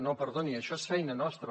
no perdoni això és feina nostra